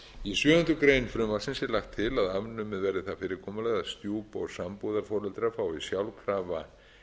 í sjöundu greinar frumvarpsins er lagt til að afnumið verði það fyrirkomulag að stjúp og sambúðarforeldrar fái sjálfkrafa